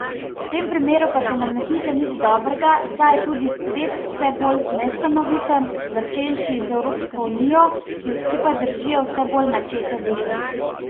V tem primeru pa se nam ne piše nič dobrega, saj je tudi svet vse bolj nestanoviten, začenši z Evropsko unijo, ki jo skupaj držijo vse bolj načete vezi.